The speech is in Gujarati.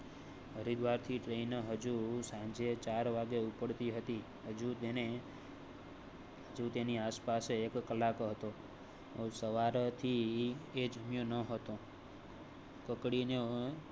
હરિદ્વાર થી ટ્રેઇન હજૂ સાંજે ચાર વાગે ઉપાડતી હતી હજુ તેને જ્યોતિ ની આસપાસ એક કલાક હતો. સવાર થી જામ્યો નહોતો. કકડીને